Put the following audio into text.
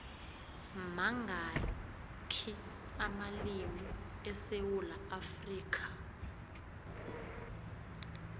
mangakhi amalimu esewula afrikha